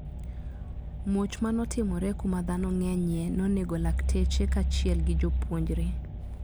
Muoch manotimore kuma dhano ng`enyie nonego lakteche kachiel gi jopuonjre.